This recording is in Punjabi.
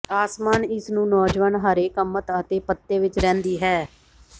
ਆਸਮਾਨ ਇਸ ਨੂੰ ਨੌਜਵਾਨ ਹਰੇ ਕਮਤ ਅਤੇ ਪੱਤੇ ਵਿਚ ਰਹਿੰਦੀ ਹੈ